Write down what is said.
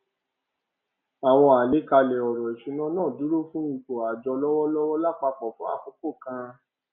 àwọn àlàkalẹ ọrọ ìṣúná náà dúró fún ipò àjọ lọwọlọwọ lápapọ fún àkókò kan